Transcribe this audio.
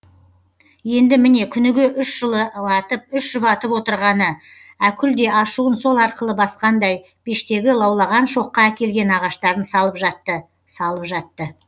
енді міне күніге үш жылы латып үш жұбатып отырғаны әкүл де ашуын сол арқылы басқандай пештегі лаулаған шоққа әкелген ағаштарын салып жатты салып жатты